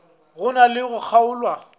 go na le go kgaolwa